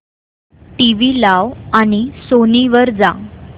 TV लाव आणि Sony वर जा